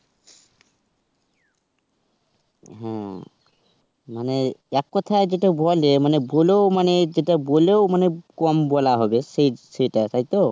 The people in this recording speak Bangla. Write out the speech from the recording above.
হুম. মানে এক কোথায় যেটা বলে মানে বলেও মানে যেটা বলেও মানে কম বলা হবে সেটা. তাইতো?